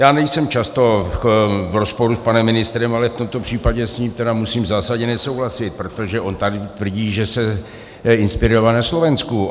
Já nejsem často v rozporu s panem ministrem, ale v tomto případě s ním tedy musím zásadně nesouhlasit, protože on tady tvrdí, že se inspiroval na Slovensku.